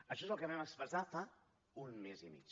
això és el que vam expressar fa un mes i mig